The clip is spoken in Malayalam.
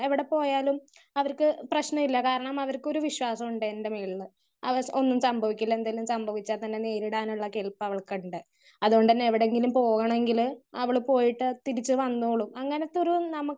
സ്പീക്കർ 1 എവിടെ പോയാലും അവർക്ക് പ്രശ്നവും ഇല്ല. കാരണം അവർക്കൊരു വിശ്വാസമുണ്ട് എൻ്റെ മേളില് അവൾക്ക് ഒന്നും സംഭവിക്കില്ല എന്തെങ്കിലും സംഭവിച്ചാൽ തന്നെ നേരിടാനുള്ള കരുത്ത് അവൾക്കുണ്ട്. അത് കൊണ്ട് തന്നെ എവിടെയെങ്കിലും പോവണെങ്കിൽ അവള് പോയിട്ട് തിരിച്ചു വന്നോളും. അങ്ങനെത്തെ ഒരു നമുക്ക്